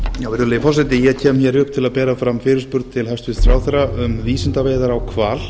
virðulegi forseti ég kem upp til að bera fram fyrirspurn til hæstvirts ráðherra um vísindaveiðar á hval